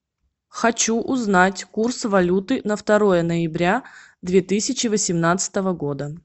хочу узнать курс валюты на второе ноября две тысячи восемнадцатого года